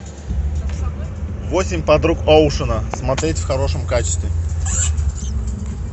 восемь подруг оушена смотреть в хорошем качестве